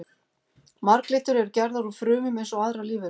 Marglyttur eru gerðar úr frumum eins og aðrar lífverur.